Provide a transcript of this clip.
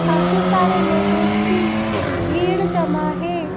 काफी सारे लोगों की भीड़ जमा है।